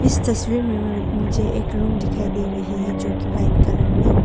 इस तस्वीर में मम मुझे एक रूम दिखाई दे रही हैं जोकि व्हाइट कलर में--